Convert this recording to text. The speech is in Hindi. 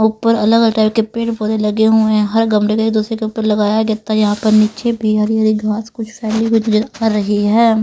उप्पर अलग-अ टाइप के पेर पौधे लगे हुए हैं हर गमले में ए दुसरे के उप्पर लगाया गत्ता यहाँ पर निच्चे भी हरी हरी घाँस कुछ फेली कर रही है।